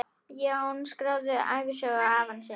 Jón skráði ævisögu afa síns.